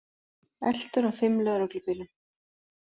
Eltur af fimm lögreglubílum